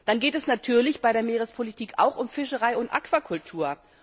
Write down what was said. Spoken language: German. Dann geht es natürlich bei der Meerespolitik auch um Fischerei und Aquakultur.